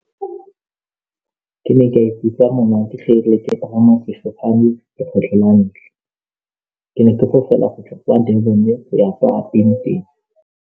Ke ne ka ikutlwa monate ga ne ke pagama sefofane lekgetlho la ntlha ke ne ke fofela go tswa kwa Durban go ya kwa Upington.